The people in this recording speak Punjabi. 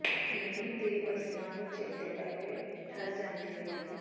ਮੇਰੀ ਦੇਹ ਵਸਲਾਂ ਨੂੰ ਚੇਤੇ ਕਰਕੇ ਠਰ ਜਾਂਦੀ ਹੈ